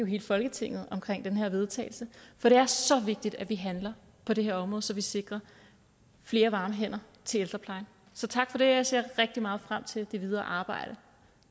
hele folketinget omkring det her vedtagelse for det er så vigtigt at vi handler på det her område så vi sikrer flere varme hænder til ældreplejen så tak for det jeg ser rigtig meget frem til det videre arbejde